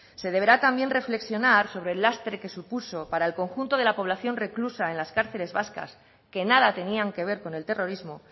se deberá también reflexionar sobre el lastre que supuso para el conjunto de la población reclusa en las cárceles vascas que nada tenían que ver con el terrorismo